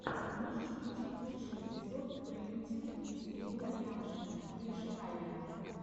можешь включить лучший эпизод пэинтинг виз ирина лямшина иришкалиа